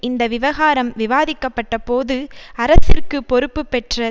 இந்த விவகாரம் விவாதிக்கப்பட்டபோது அரசிற்கு பொறுப்பு பெற்ற